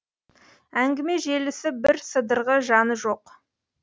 әңгіме желісі бір сыдырғы жаны жоқ